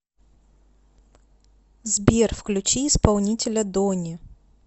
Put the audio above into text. сбер включи исполнителя дони